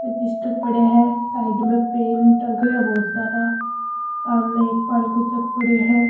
Register पड़िया है side में पेन टंग रा है बहुत सारा सामने एक पानी को जग पड़यो है।